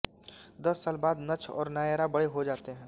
दस साल बाद नक्ष और नायरा बड़े हो जाते हैं